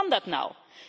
Hoe kan dat nou?